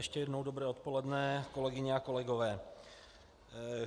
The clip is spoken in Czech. Ještě jednou dobré odpoledne, kolegyně a kolegové.